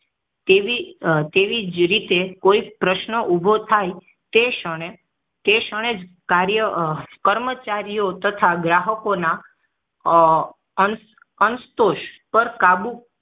તેવી તેવી જ રીતે કોઈ પ્રશ્ન ઊભો થાય તે ક્ષણે તે ક્ષણે કાર્ય કર્મચારીયઓ તથા ગ્રાહક ના અનસં અનસંતોષ પર કાબુ